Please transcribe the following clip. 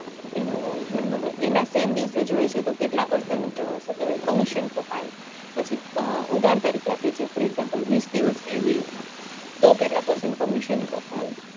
એનું એના same દિવસે જોયે છે તો કેટલા percent શું કેવાય commission કપાય પછી ઉદાહરણ તરીકે for example વિસ દિવસ કે આવી રીતના તો કેટલા percent commission કપાય